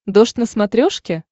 дождь на смотрешке